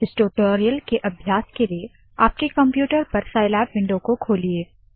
इस टूटोरियल के अभ्यास के लिए आपके कंप्यूटर पर साइलैब विंडो को खोलिए